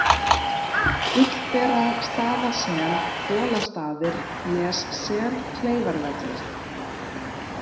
Gullberastaðasel, Bolastaðir, Nessel, Kleifarvellir